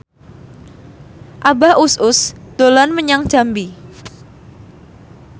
Abah Us Us dolan menyang Jambi